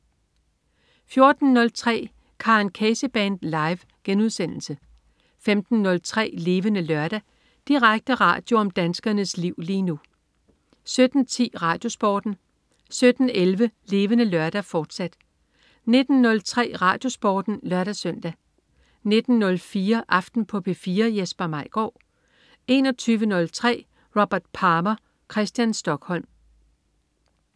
14.03 Karen Casey Band. Live* 15.03 Levende Lørdag. Direkte radio om danskernes liv lige nu 17.10 RadioSporten 17.11 Levende Lørdag, fortsat 19.03 RadioSporten (lør-søn) 19.04 Aften på P4. Jesper Maigaard 21.03 Robert Palmer. Christian Stokholm